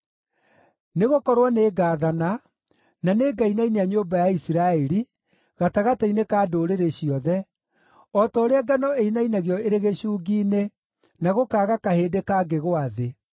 “Nĩgũkorwo nĩngathana, na nĩngainainia nyũmba ya Isiraeli gatagatĩ-inĩ ka ndũrĩrĩ ciothe, o ta ũrĩa ngano ĩinainagio ĩrĩ gĩcungi-inĩ, na gũkaaga kahĩndĩ kangĩgũa thĩ.